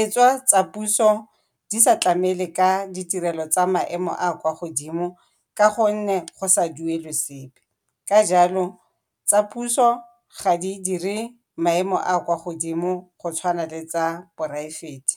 E tswa tsa puso di sa tlamele ka ditirelo tsa maemo a a kwa godimo ka gonne go sa duelwe sepe, ka jalo tsa puso ga di dire maemo a kwa godimo go tshwana le tsa poraefete.